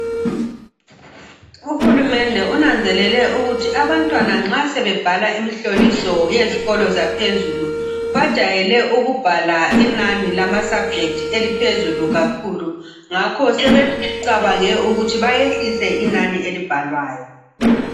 uhulumende unanzelele ukuthi abantwana nxa sebebhala umhloliso owezikolo zaphezulu bajayele ukubhala inani zama sabject eliphezulu kakhulu njalo sebecabange ukwehlisa inani elibhalwayo